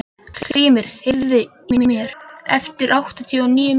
Hrímnir, heyrðu í mér eftir áttatíu og níu mínútur.